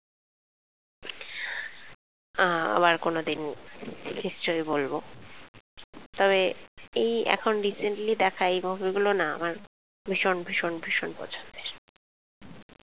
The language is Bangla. আহ আবার কোনোদিন নিশ্চয়ই বলবো তবে এই এখন recently দেখা এই movie গুলো ভীষণ ভীষণ পছন্দ